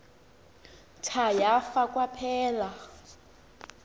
tha yafa kwaphela